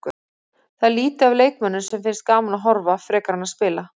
Það er lítið af leikmönnum sem finnst gaman að horfa frekar en að spila.